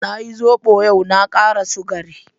Na yi zobo yau, na kara sugari.